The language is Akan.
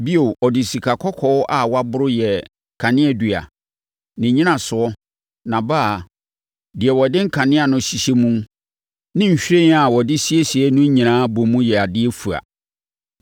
Bio, ɔde sikakɔkɔɔ a wɔaboro yɛɛ kaneadua. Ne nnyinasoɔ, nʼabaa, deɛ wɔde nkanea no hyehyɛ mu ne nhwiren a wɔde siesiee no nyinaa bom yɛ adeɛ fua.